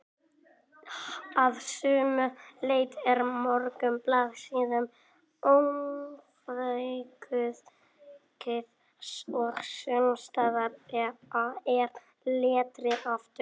Að sumu leyti er mörgum blaðsíðum ofaukið og sumsstaðar er letrið of dauft.